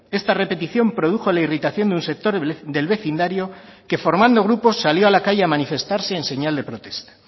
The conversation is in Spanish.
esta repetición produjo la irritación de un sector del vecindario que formando grupos salió a la calle a manifestarse en señal de protesta